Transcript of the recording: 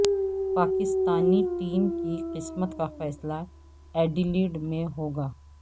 Pakistani team کی قسمت کا فیصلہ ایڈیلیڈ میں ہو گا